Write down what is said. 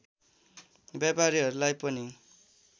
व्यापारीहरूलाई पनि